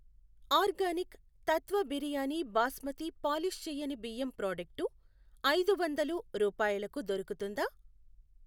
Organic Tatva biryani basmati polish చెయ్యని బియ్యం product ఐదు వందలు రూపాయలకు దొరుకుతుందా?